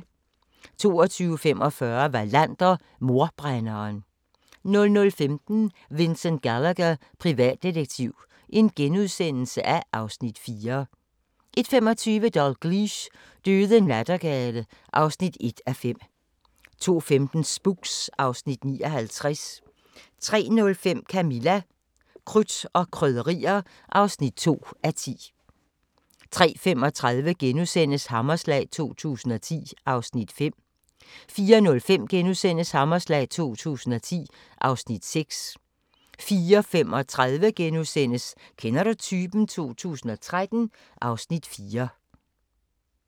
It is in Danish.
22:45: Wallander: Mordbrænderen 00:15: Vincent Gallagher, privatdetektiv (Afs. 4)* 01:25: Dalgliesh: Døde nattergale (1:5) 02:15: Spooks (Afs. 59) 03:05: Camilla – Krudt og Krydderier (2:10) 03:35: Hammerslag 2010 (Afs. 5)* 04:05: Hammerslag 2010 (Afs. 6)* 04:35: Kender du typen? 2013 (Afs. 4)*